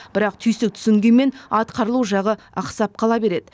бірақ түйсік түсінгенмен атқарылу жағы ақсап қала береді